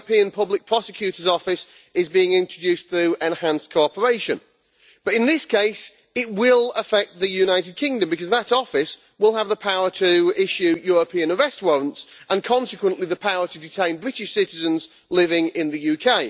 The European Public Prosecutor's Office is being introduced through enhanced cooperation, but, in this case, it will affect the United Kingdom because that Office will have the power to issue European arrest warrants and, consequently, the power to detain British citizens living in the UK.